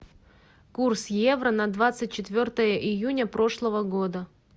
курс евро на двадцать четвертое июня прошлого года